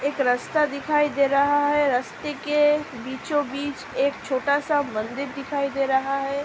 एक रस्‍ता दिखाई दे रहा है रस्‍ते के बीचो-बीच एक छोटा सा मंदिर दिखाई दे रहा है ।